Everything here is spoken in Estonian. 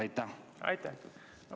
Aitäh!